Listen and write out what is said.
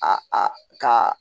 A ka